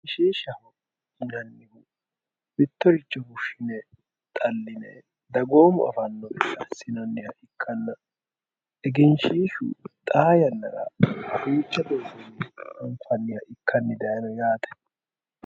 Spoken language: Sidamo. Egenshiishshaho yinannihu mittoricho fushine xaline dagoomu affano gede assinanniha ikkanna egenshiishshu xaa yannara duuchu garini affi'nanniha ikkani dayino yaate.